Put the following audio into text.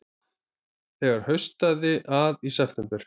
Þegar haustaði að í september